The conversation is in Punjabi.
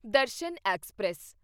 ਦਰਸ਼ਨ ਐਕਸਪ੍ਰੈਸ